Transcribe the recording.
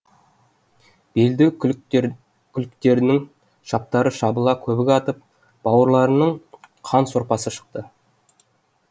белді күліктерінің шаптары шабыла көбік атып бауырларының қан сорпасы шықты